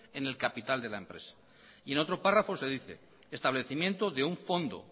en el capital de la empresa y en otro párrafo se dice establecimiento de un fondo